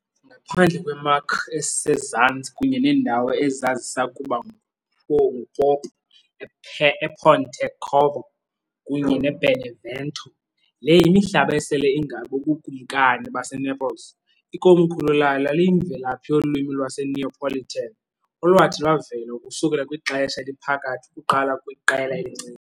Ngaphandle kwe- Marche esezantsi kunye neendawo ezazisakuba ngupopu ePontecorvo kunye neBenevento, le yimihlaba esele ingaboBukumkani baseNaples, ikomkhulu layo laliyimvelaphi yolwimi lwaseNeapolitan, olwathi lwavela ukusukela kwiXesha Eliphakathi ukuqala kwiqela elincinci.